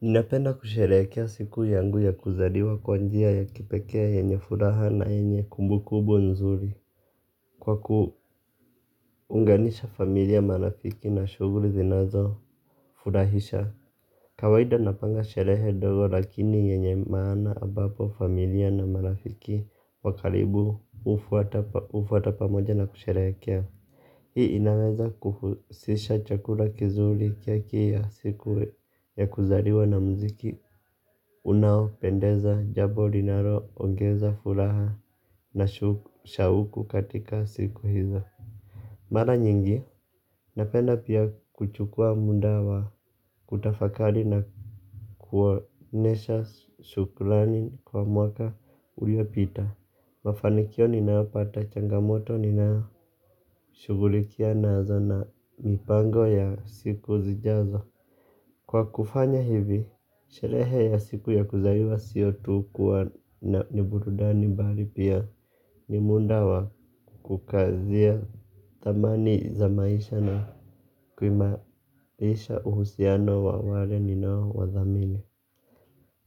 Napenda kusherekea siku yangu ya kuzaliwa kwa njia ya kipekee yenye furaha na yenye kumbukumbu nzuri. Kwa kuunganisha familia marafiki na shughuli zinazofurahisha kawaida napanga sherehe ndogo lakini yenye maana ambapo familia na marafiki wakaribu hufuata pamoja na kusherekea. Hii inaweza kuhusisha chakula kizuri kia kila siku ya kuzaliwa na mziki. Unao pendeza jambo linalo ongeza furaha na shauku katika siku hizo. Mara nyingi, napenda pia kuchukua muda wa kutafakari na kuonyesha shukrani kwa mwaka ulio pita. Mafanikio ninayopata changamoto ninao shugulikia nazo na mipango ya siku zijazo. Kwa kufanya hivi, sherehe ya siku ya kuzaliwa sio tu kuwa na burudani bali pia ni muda wa kukazia thamani za maisha na kuimarisha uhusiano wa wale ninao wadhamini.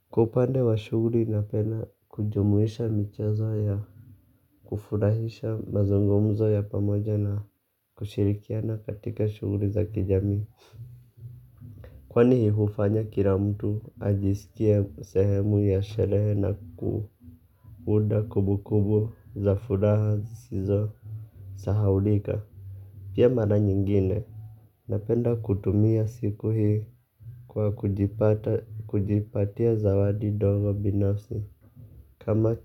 Kwa upande wa shuguli napenda kujumuisha michezo ya kufurahisha mazungumzo ya pamoja na kushirikiana katika shuguli za kijamii. Kwani hufanya kila mtu ajisikia sehemu ya sherehe na kuunda kumbukumbu za furaha sizo sahaulika. Pia mara nyingine. Napenda kutumia siku hii kwa kujipatia zawadi dogo binafsi. Kama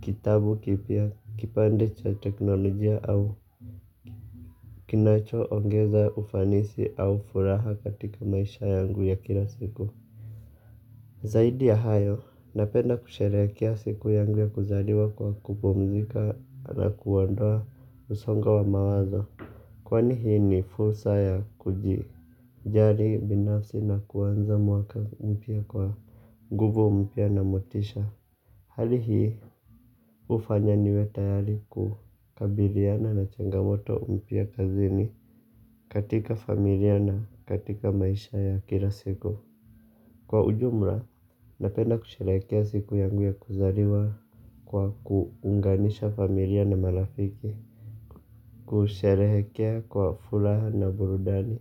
kitabu kipya, kipande cha teknolojia au kinacho ongeza ufanisi au furaha katika maisha yangu ya kila siku. Zaidi ya hayo, napenda kusherekea siku yangu ya kuzaliwa kwa kupumzika na kuondoa msonga wa mawazo. Kwani hii ni fursa ya kuji jali binafsi na kuanza mwaka mpya kwa nguvu mpya na motisha. Hali hii ufanya niwe tayari kukabiliana na changamoto mpya kazini katika familia na katika maisha ya kila siku. Kwa ujumla napenda kusherekea siku yangu ya kuzaliwa kwa kuunganisha familia na marafiki. Kusherehekea kwa furaha na burudani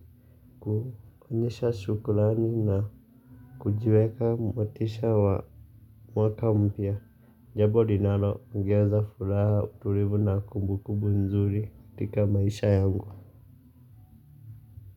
kuonyesha shukrani na kujiweka motisha wa mwaka mpya jambo linalo ongeza furaha utulivu na kumbu kumbu nzuri katika maisha yangu.